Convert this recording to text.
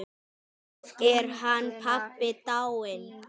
Þá er hann pabbi dáinn.